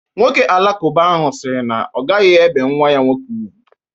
Nwọke alakụba ahụ siri na ọ gaghi ebe nwa ya nwọke ùgwú.